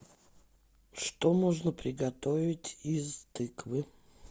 что можно приготовить из тыквы